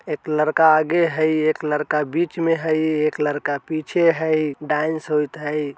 एक लड़का आगे हई एक लड़का बीच में हई एक लड़का पीछे हई डांस होयत हई।